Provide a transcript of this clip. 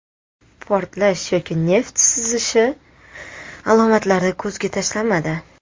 Portlash yoki neft sizishi alomatlari ko‘zga tashlanmadi.